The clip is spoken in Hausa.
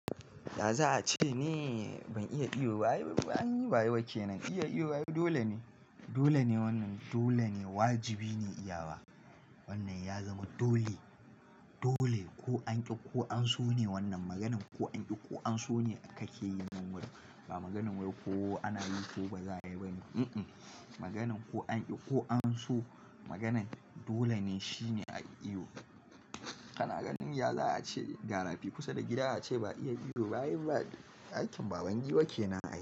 Yaza a ce ni, ban iya iyo ba ai an yi baya wake nan iya iyo dole ne. Dole ne wannan dole ne, wajibi ne iyawa. Wannan ya zama dole, dole. Ko an ƙi ko an so ne wannan maganin ko an ƙi ko an so ne kake yi min wai. Ba maganin wai ko ana yi ko ba za a yi ba ne. Mm-mm maganin ko an ƙi ko an so maganan dole ne shine a yi iyo. Kana ganin yaza ce ga rafi kusa da gida ace ba iya iyo ba ai ba aikin baban giwa ke nan a yi.